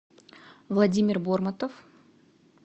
владимир бормутов